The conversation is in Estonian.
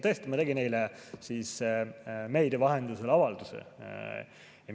Tõesti, ma tegin eile meedia vahendusel avalduse.